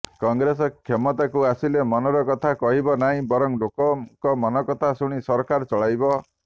କଂଗ୍ରେସ କ୍ଷମତାକୁ ଆସିଲେ ମନର କଥା କହିବ ନାହିଁ ବରଂ ଲୋକଙ୍କ ମନକଥା ଶୁଣି ସରକାର ଚଳାଇବ